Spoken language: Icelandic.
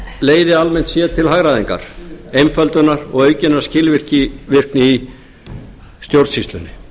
leiði almennt séð til hagræðingar einföldunar og aukinnar skilvirkni í stjórnsýslunni